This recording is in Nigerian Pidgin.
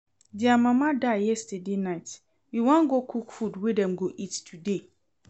Dia mama die yesterday night, we wan go cook food wey dem go eat today